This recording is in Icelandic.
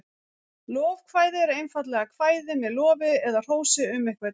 Lofkvæði eru einfaldlega kvæði með lofi eða hrósi um einhvern.